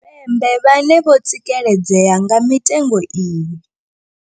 Tshipembe vhane vho tsikeledzea nga mitengo iyi.